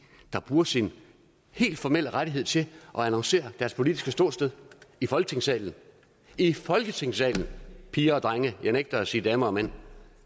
der bruger sin helt formelle ret til at annoncere deres politiske ståsted i folketingssalen i folketingssalen piger og drenge jeg nægter at sige damer og mænd